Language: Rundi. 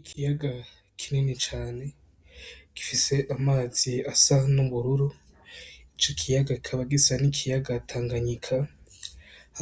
Ikiyaga kinini cane gifise amazi asa n' ubururu ico kiyaga kikaba gisa n' ikiyaga Tanganyika